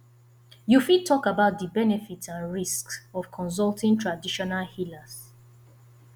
you fit talk about di benefits and risks of consulting traditional healers